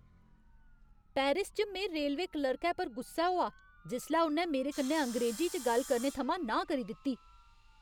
Paris च में railway क्लर्कै पर गुस्सै होआ जिसलै उ'न्नै मेरे कन्नै अंग्रेजी च गल्ल करने थमां नांह् करी दित्ती।